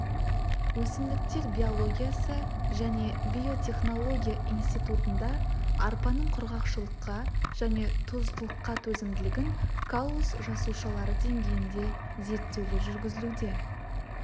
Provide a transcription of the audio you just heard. өсімдіктер биологиясы және биотехнология институтында арпаның құрғақшылыққа және тұздылыққа төзімділігін каллус жасушалары деңгейінде зерттеулер жүргізілуде